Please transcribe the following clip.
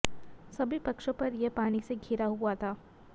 सभी पक्षों पर यह पानी से घिरा हुआ था